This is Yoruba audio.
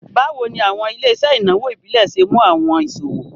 Bawo ni awọn ile-iṣẹ inawo ibile ṣe mu awọn iṣowo?